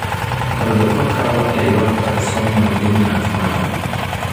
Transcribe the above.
Oyudo kokalo e yor autosomal dominant manner.